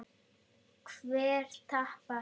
Hver tapar?